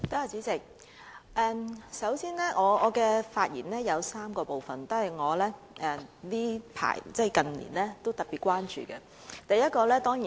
主席，我的發言包括3部分，是我近年特別關注的議題。